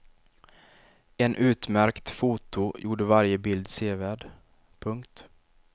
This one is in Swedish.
En utmärkt foto gjorde varje bild sevärd. punkt